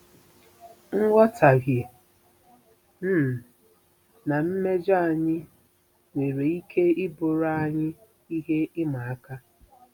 Nghọtahie um na mmejọ anyị nwere ike ịbụrụ anyị ihe ịma aka.